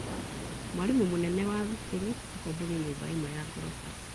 Mwarimũ mũnene wa thukuru akomborire nyũmba imwe ya ngoroba.